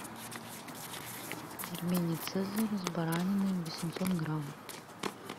пельмени цезарь с бараниной восемьсот грамм